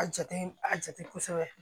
A jate a jate kosɛbɛ